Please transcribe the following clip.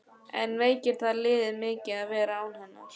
En veikir það liðið mikið að vera án hennar?